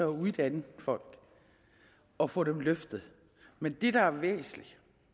uddanne folk og få dem løftet men det der er væsentligt